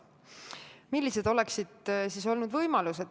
Millised oleksid olnud võimalused?